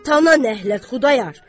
Atana ləhnət, Xudayar!